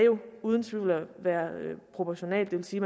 uden tvivl være proportionalt det vil sige